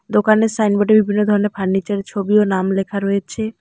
দোকানের সাইনবোর্ডে বিভিন্ন ধরনের ফার্নিচারের ছবি ও নাম লেখা রয়েছে।